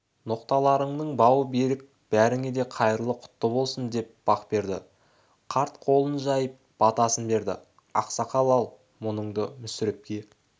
ноқталарыңның бауы берік бәріңе де қайырлы құтты болсын деп бақберді қарт қолын жайып батасын берді ақсақал-ау мұныңды мүсірепке